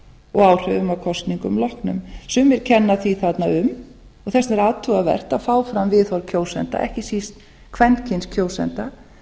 og áhrifum að kosningum loknum sumir kenna því þarna um og þess vegna er áhugavert að fá fram viðhorf kjósenda ekki síst kvenkyns kjósenda